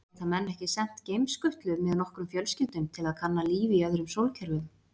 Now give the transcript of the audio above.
Geta menn ekki sent geimskutlu með nokkrum fjölskyldum til að kanna líf í öðrum sólkerfum?